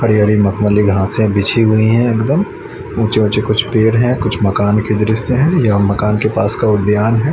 हरी-हरी मखमली घासे बिछी हुई है एकदम उचें-उचें कुछ पेड़ हैं कुछ मकान के दृश्य है यह मकान के पास का उद्यान हैं।